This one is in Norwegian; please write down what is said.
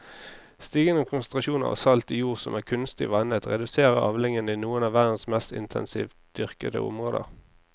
Stigende konsentrasjoner av salt i jord som er kunstig vannet reduserer avlingene i noen av verdens mest intensivt dyrkede områder.